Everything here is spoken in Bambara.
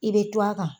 I bɛ to a kan